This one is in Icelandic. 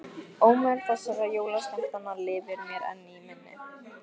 Ómur þessara jólaskemmtana lifir mér enn í minni.